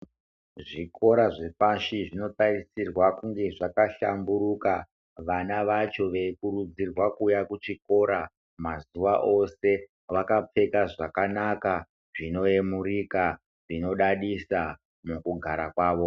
Zvikora zvepashi zvinotarisirwa kunge zvakahlamburuka. Vana vacho veikurudzirwa kuuya kuchikora mazuwa ose, vakapfeka zvakanaka, zvinoemurika, zvinodadisa mukugara kwavo.